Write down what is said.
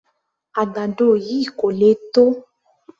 Àgbàdo yìí kò le tó